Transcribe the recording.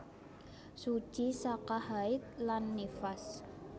Suci saka haid lan nifas